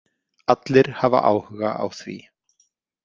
Allir hafa áhuga á því.